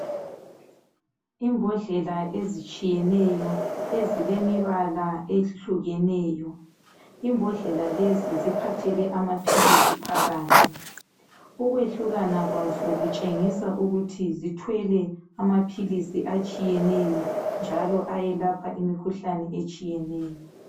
Imbodlela ezitshiyeneyo ezilemibala ehlukeneyo, imbodlela lezi ziphathele amaphilisi phakathi ukwehlukana kwazo zitshengisa ukubana zithwele amaphilisi atshiyeneyo njalo ayelapha imikhuhlane etshiyeneyo.